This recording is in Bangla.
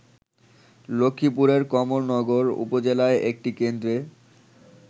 লক্ষ্মীপুরের কমলনগর উপজেলায় একটি কেন্দ্রে